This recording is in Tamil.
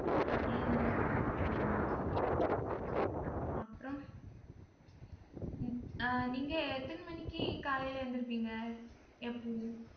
அப்படியே நல்லா போகும் உம் அப்புறம் உம் ஆஹ் நீங்க எத்தனை மணிக்கு காலையில எழுந்திருப்பீங்க எப்பவும்